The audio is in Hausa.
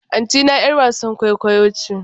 Antina 'yar wasan kwaikwayo ce.